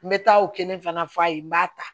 N bɛ taa o kelen fana f'a ye n b'a ta